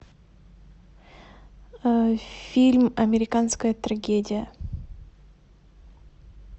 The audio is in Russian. фильм американская трагедия